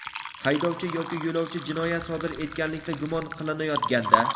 haydovchi yoki yo‘lovchi jinoyat sodir etganlikda gumon qilinayotganda;.